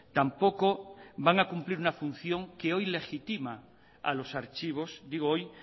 tampoco van a cumplir una función que hoy legitima a los archivos digo hoy